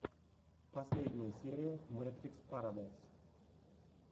последняя серия мэтрикс парадайс